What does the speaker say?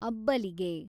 ಅಬ್ಬಲಿಗೆ